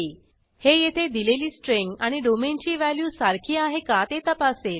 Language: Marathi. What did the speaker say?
हे येथे दिलेली स्ट्रिंग आणि डोमेन ची व्हॅल्यू सारखी आहे का ते तपासेल